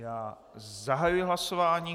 Já zahajuji hlasování.